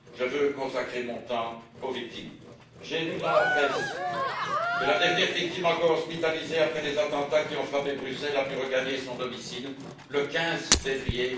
Je veux consacrer mon temps aux victimes. J'ai appris par la presse que la dernière victime hospitalisée à la suite des attentats qui ont frappé Bruxelles a pu regagner son domicile le 15 février